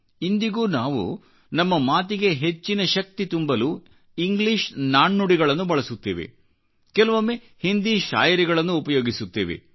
ಇಂದಿಗೂನಾವು ನಮ್ಮ ಮಾತಿಗೆ ಹೆಚ್ಚಿನ ಶಕ್ತಿ ತುಂಬಲು ಇಂಗ್ಲಿಷ್ ನಾಣ್ಣುಡಿಗಳನ್ನು ಬಳಸುತ್ತೇವೆ ಕೆಲವೊಮ್ಮೆ ಹಿಂದಿ ಶಾಯರಿಗಳನ್ನು ಉಪಯೋಗಿಸುತ್ತೇವೆ